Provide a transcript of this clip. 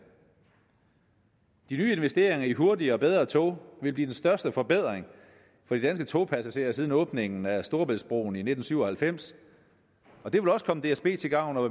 de nye investeringer i hurtigere og bedre tog vil blive den største forbedring for de danske togpassagerer siden åbningen af storebæltsbroen i nitten syv og halvfems og det vil også komme dsb til gavn og